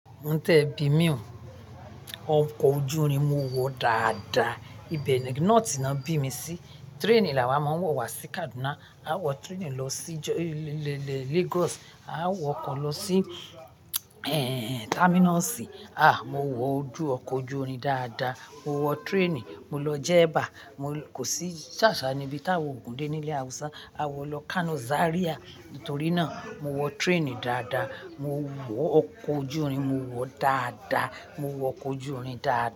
Mo tẹ bi mí òun. Ọkọ̀ ojú irin mo wọ̀ dáadáa. Ibẹ̀ ni north náà bí mi sí. Train ni a máa ń wọ̀ wá sí Kaduna. A wọ train lọ sí Lagos. A wọ ọkọ̀ lọ sí terminalì. À, mo wọ ọkọ̀ ojú irin dáadáa. Mo wọ train, mo lọ Jebba. Kò sí sásá níbi táwo ku de ní ilẹ̀ Hausa. A wọ̀ lọ Kano, Zaria. Nítorí náà, mo wọ train dáadáa. Mo wọ ọkọ̀ ojú irin mo wọ̀ dáadáa. Mo wọ ọkọ̀ ojú irin dáadáa.